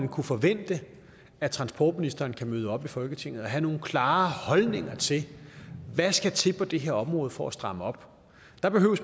kunne forvente at transportministeren kan møde op i folketinget og have nogle klare holdninger til hvad der skal til på det her område for at stramme op